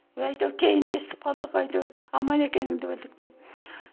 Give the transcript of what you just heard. әйтеуір кейін естіп қалдық әйтеуір аман екеніңді білдік деп